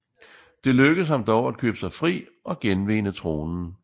Det lykkedes ham dog at købe sig fri og genvinde tronen